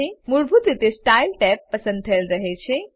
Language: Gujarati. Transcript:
મૂળભૂત રીતે સ્ટાઇલ ટેબ પસંદ થયેલ રહે છે